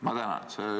Ma tänan!